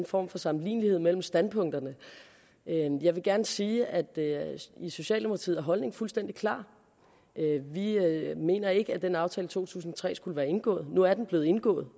form for sammenlignelighed mellem standpunkterne jeg vil gerne sige at i socialdemokratiet er holdningen fuldstændig klar vi mener ikke at den aftale i to tusind og tre skulle være indgået nu er den blevet indgået